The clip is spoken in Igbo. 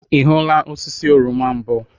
Ị hụla osisi oroma mbụ?